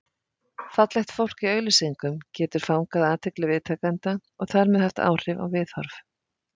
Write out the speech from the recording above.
Fallegt fólk í auglýsingum getur fangað athygli viðtakenda og þar með haft áhrif á viðhorf.